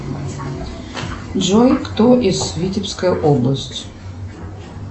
джой кто из витебская область